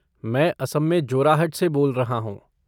मैं असम में जोराहट से बोल रहा हूँ।